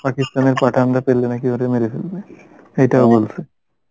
পাকিস্থানের পাঠানরা পেলে নাকি ওরে মেরে ফেলবে এইটাও বলছে